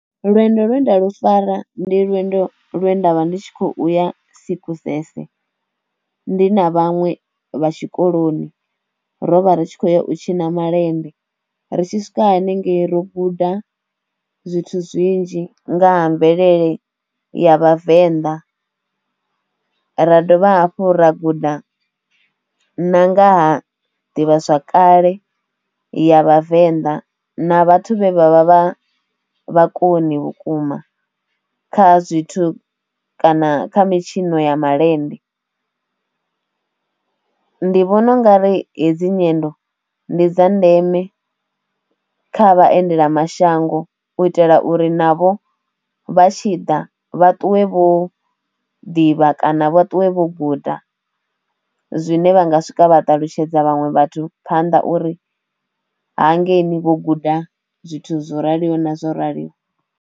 Lwendo lwe nda lu fara ndi lwendo lwe nda vha ndi tshi khou ya Sekgosese ndi na vhaṅwe vha tshikoloni, rovha ri tshi khou ya u tshina malende, ri tshi swika hanengei ro guda zwithu zwinzhi nga ha mvelele ya vhavenḓa, ra dovha hafhu ra guda na nga ha ḓivhazwakale ya vhavenḓa na vhathu vhe vha vha vha vhakoni vhukuma kha zwithu kana kha mitshino ya malende, ndi vhona ungari hedzi nyendo ndi dza ndeme kha vhaendela mashango u itela uri navho vha tshi ḓa vha ṱuwe vho ḓivha kana vha ṱuwe vho guda zwine vha nga swika vha ṱalutshedza vhaṅwe vhathu phanḓa uri hangeini vho guda zwithu zwo raliho na zwo raliho.